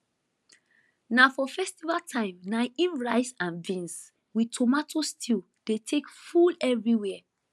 na for festival time na im rice and beans with tomato stew take dey full everywhere